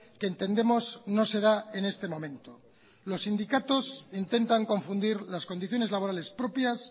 que entendemos no se da en este momento los sindicatos intentan confundir las condiciones laborales propias